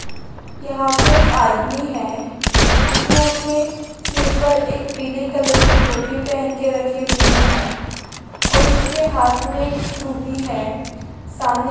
यहाँ पे एक आदमी है उसने अपने सिर पर एक पीले कलर की टोपी पहन के रखी हुई है और उसके हाथ में एक स्क्रू भी है सामने --